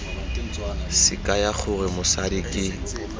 se kaya gore mosadi ke